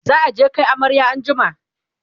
za'a je Kai amarya an jima